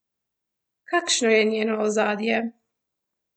Kakšno je njeno ozadje?